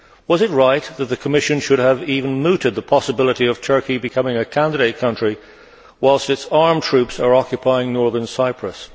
Was it right that the Commission should have even mooted the possibility of Turkey becoming a candidate country whilst its armed troops are occupying Northern Cyprus?